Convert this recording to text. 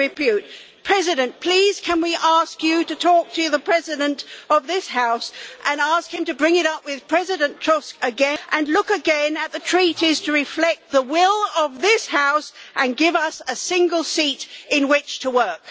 Mr President, please can we ask you to talk to the President of this House and ask him to bring it up again with President Tusk and look again at the Treaties to reflect the will of this House and give us a single seat in which to work?